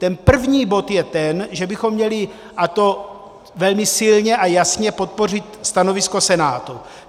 Ten první bod je ten, že bychom měli, a to velmi silně a jasně, podpořit stanovisko Senátu.